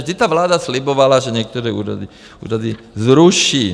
Vždyť ta vláda slibovala, že některé úřady zruší.